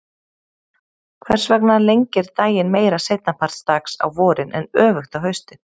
Hvers vegna lengir daginn meira seinni part dags á vorin en öfugt á haustin?